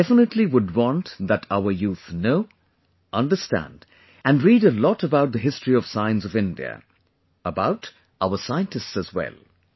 I definitely would want that our youth know, understand and read a lot about the history of science of India ; about our scientists as well